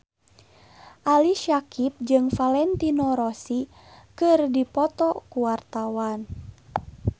Ali Syakieb jeung Valentino Rossi keur dipoto ku wartawan